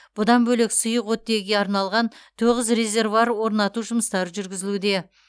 бұдан бөлек сұйық оттегіге арналған тоғыз резервуар орнату жұмыстары жүргізілуде